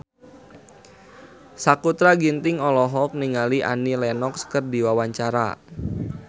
Sakutra Ginting olohok ningali Annie Lenox keur diwawancara